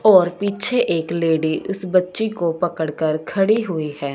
और पीछे एक लेडी इस बच्ची को पकड़ कर खड़ी हुई है।